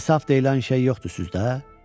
İnsaf deyilən şey yoxdur sizdə?